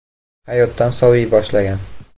Hayotdan soviy boshlagan.